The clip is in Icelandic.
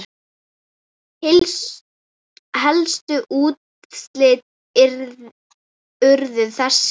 Helstu úrslit urðu þessi